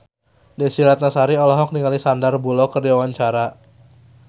Desy Ratnasari olohok ningali Sandar Bullock keur diwawancara